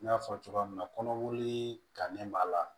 N y'a fɔ cogoya min na kɔnɔboli kannen b'a la